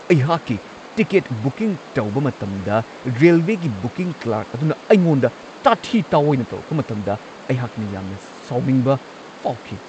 ꯑꯩꯍꯥꯛꯀꯤ ticket booking ꯇꯧꯕ ꯃꯇꯝꯗ ꯔꯦꯜꯋꯦꯒꯤ ꯕꯨꯀꯤꯡ ꯀ꯭ꯂꯔ꯭ꯛ ꯑꯗꯨꯅ ꯑꯩꯉꯣꯟꯗ ꯇꯥꯊꯤ-ꯇꯥꯋꯣꯏꯅ ꯇꯧꯔꯛꯄ ꯃꯇꯝꯗ ꯑꯩꯍꯥꯛꯅ ꯌꯥꯝꯅ ꯁꯥꯎꯅꯤꯡꯕ ꯐꯥꯎꯈꯤ ꯫